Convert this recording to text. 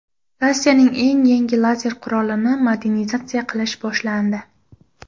Rossiyaning eng yangi lazer qurolini modernizatsiya qilish boshlandi.